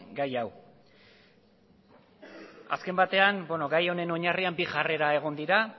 gai hau azken batean gai honen oinarrian bi jarrera egon dira